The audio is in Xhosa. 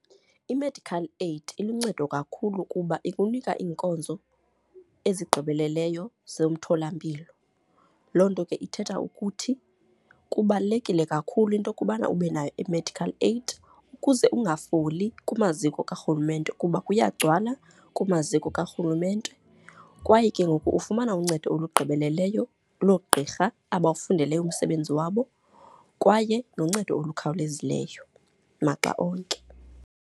I-medical aid iluncedo kakhulu kuba ikunika iinkonzo ezigqibeleleyo zemtholampilo. Loo nto ke ithetha ukuthi kubalulekile kakhulu into yokubana ube nayo i-medical aid ukuze ungafoli kumaziko karhurumente kuba kuyagcwala kumaziko karhulumente. Kwaye ke ngoku ufumana uncedo olugqibeleleyo loogqirha abawufundeleyo umsebenzi wabo kwaye noncedo olukhawulezileyo maxa onke.